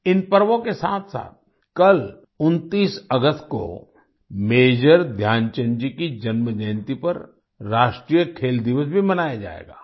इन पर्वों के साथसाथ कल 29 अगस्त को मेजर ध्यानचंद जी की जन्मजयंती पर राष्ट्रीय खेल दिवस भी मनाया जाएगा